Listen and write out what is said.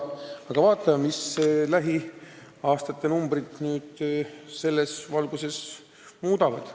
Aga vaatame, kuidas lähiaastate numbrid selles osas muutuvad.